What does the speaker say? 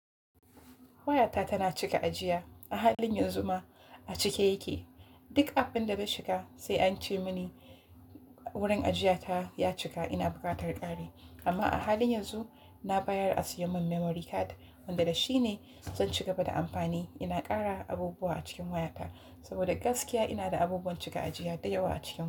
Wayata tana cika ajiya. A halin yanzu ma a cike yake. Duk abin da na shiga sai ance mini wurin ajiya ta ya cika ina buƙatar ƙari. Amma a halin yanzu na bayar a sayo min memory card wanda da shi ne zan shiga bada amfani. Ina ƙara abubuwa a cikin wayata saboda gaskiya ina da abubuwan cika ajiya da yawa a ciki.